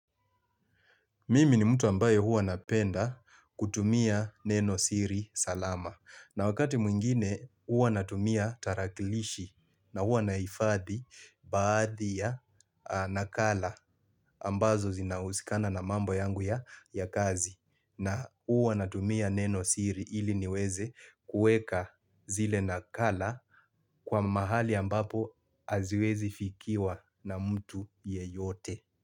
Mimi ni mtu ambaye huwa napenda kutumia neno siri salama. Na wakati mwingine huwa natumia tarakilishi na huwa nahifadhi baadhi ya nakala ambazo zinahusikana na mambo yangu ya kazi na huwa natumia neno siri ili niweze kuweka zile nakala kwa mahali ambapo haziwezi fikiwa na mtu yeyote.